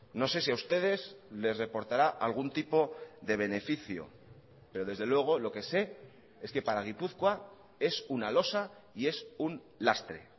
no sé si a ustedes les reportará algún tipo de beneficio pero desde luego lo que sé es que para gipuzkoa es una losa y es un lastre